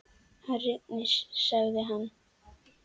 Hann rignir, sagði hann.